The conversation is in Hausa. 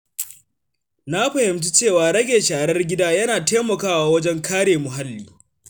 Na fahimci cewa rage sharar gida yana taimakawa wajen kare muhalli.